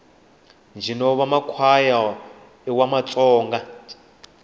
ntjino wamakwaya iwamatsonga